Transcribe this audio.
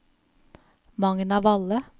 Magna Valle